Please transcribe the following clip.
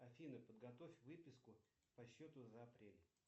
афина подготовь выписку по счету за апрель